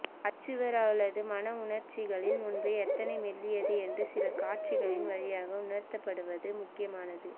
achiever அவளது மனவுணர்ச்சிகளின் முன்பு எத்தனை மெல்லியது என்று சில காட்சிகளின் வழியாக உணர்த்தபடுவது முக்கியமானது